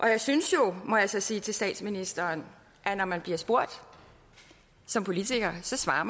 jeg synes jo må jeg så sige til statsministeren at når man bliver spurgt som politiker så svarer